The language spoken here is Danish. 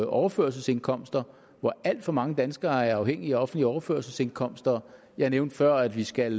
overførselsindkomster hvor alt for mange danskere er afhængige af offentlige overførselsindkomster jeg nævnte før at vi skal